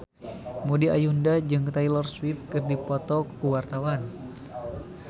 Maudy Ayunda jeung Taylor Swift keur dipoto ku wartawan